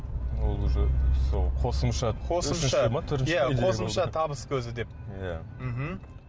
ол уже қосымша қосымша иә қосымша табыс көзі деп иә мхм